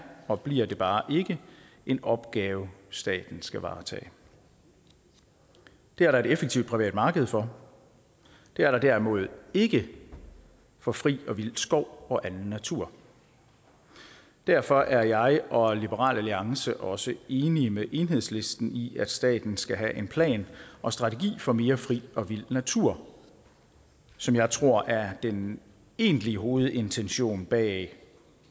og bliver bare ikke en opgave staten skal varetage det er der et effektivt privat marked for det er der derimod ikke for fri og vild skov og anden natur derfor er jeg og liberal alliance også enige med enhedslisten i at staten skal have en plan og strategi for mere fri og vild natur som jeg tror er den egentlige hovedintention bag